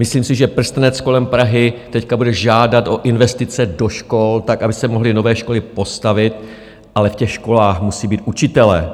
Myslím si, že prstenec kolem Prahy teď bude žádat o investice do škol tak, aby se mohly nové školy postavit, ale v těch školách musí být učitelé,